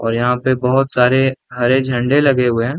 और यहाँ पे बहुत सारे हरे झंडे लगे हुए है।